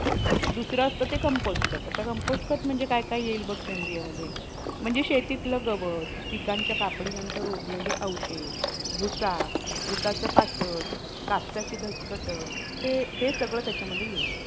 अह ती हि गोष्ट overcome करण्यात खूप मदत करते telecommunication आणि even normal गोष्टींमध्ये पण.